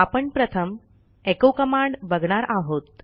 आपण प्रथम echo command बघणार आहोत